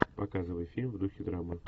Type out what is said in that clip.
показывай фильм в духе драмы